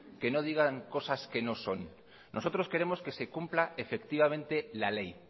que no digan cosas que no son nosotros queremos que se cumpla la ley